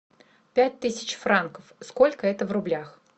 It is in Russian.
пять тысяч франков сколько это в рублях